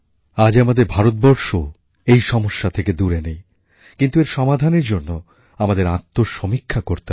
আজ আমাদের ভারতবর্ষও এই সমস্যা থেকে দূরে নেই কিন্তু এর সমাধানের জন্য আমাদের আত্মসমীক্ষা করতে হবে